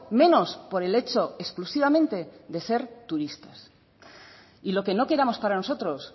menos por el hecho exclusivamente de ser turistas y lo que no queramos para nosotros